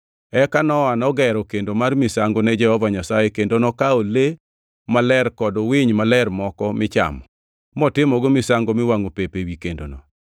Eka Nowa nogero kendo mar misango ne Jehova Nyasaye kendo nokawo le maler kod winy maler moko michamo, motimogo misango miwangʼo pep ewi kendono.